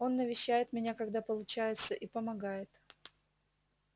он навещает меня когда получается и помогает